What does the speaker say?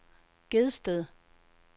Gedsted